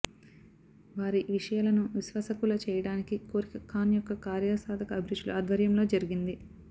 వారి విషయాలను విశ్వాసకులు చేయడానికి కోరిక ఖాన్ యొక్క కార్యసాధక అభిరుచులు ఆధ్వర్యంలో జరిగింది